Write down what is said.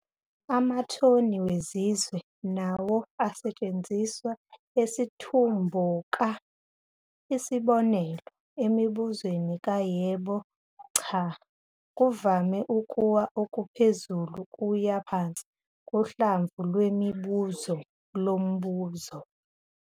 Akukho okwelapha okuqondene ngqo, kunconywa ukuphumula nemithi yokucanuzelelwa yinhliziyo noma ukukhishwa yisiu uma kunesidingo.